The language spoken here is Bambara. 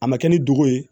A ma kɛ ni dogo ye